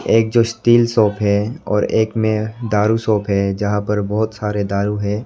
एक जो steel shop है और एक में दारु शॉप है जहां पर बहुत सारे दारू है।